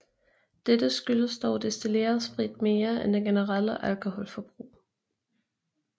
Dete skyldes dog destilleret sprit mere end det generelle alkoholforbrug